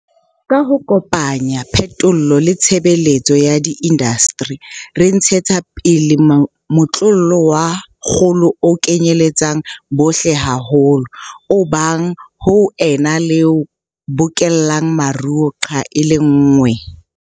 Ka ho kopanya phetolo le tshebetso ya diindasteri, re ntshetsa pele motlolo wa kgolo o kenyeletsang bohle haholo, o abang, ho ena le o bokellang maruo nqa e le nngwe.